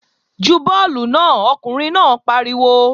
Ju bọ́ọ̀lù náà! Ọkùnrin náà pariwo